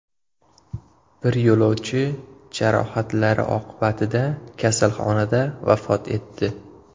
Bir yo‘lovchi jarohatlari oqibatida kasalxonada vafot etdi.